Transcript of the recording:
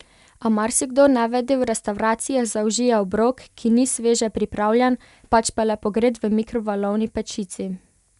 A marsikdo nevede v restavracijah zaužije obrok, ki ni sveže pripravljen, pač pa le pogret v mikrovalni pečici.